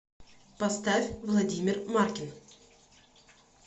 поставь владимир маркин